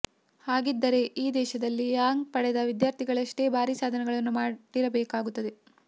ಹಾಗಿದ್ದಿದ್ದರೆ ಈ ದೇಶದಲ್ಲಿ ರ್ಯಾಂಕ್ ಪಡೆದ ವಿದ್ಯಾರ್ಥಿಗಳಷ್ಟೇ ಭಾರೀ ಸಾಧನೆಗಳನ್ನು ಮಾಡಿರಬೇಕಾಗಿತ್ತು